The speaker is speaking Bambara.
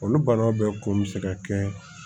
Olu bana bɛɛ kun mi se ka kɛ